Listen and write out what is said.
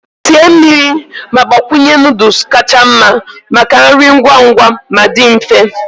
Sie mmiri ma gbakwunye noodles kacha mma maka nri ngwa ngwa ma dị mfe.